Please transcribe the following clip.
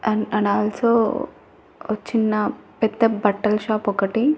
And and also ఒ చిన్న పెద్ద బట్టల షాప్ ఒకటి.